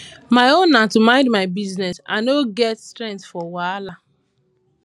my own na to mind my business i no get strength for wahala